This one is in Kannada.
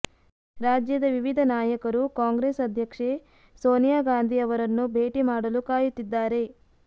ರಾಜ್ಯದ ವಿವಿಧ ನಾಯಕರು ಕಾಂಗ್ರೆಸ್ ಅಧ್ಯಕ್ಷೆ ಸೋನಿಯಾ ಗಾಂಧಿ ಅವರನ್ನು ಭೇಟಿ ಮಾಡಲು ಕಾಯುತ್ತಿದ್ದಾರೆ